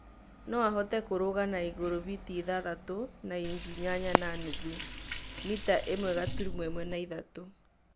no ahote kũrũga na igũrũ biti ithatũ na inji inyanya na nuthu ( mita ĩmwe gaturumo ĩmwe ithatũ)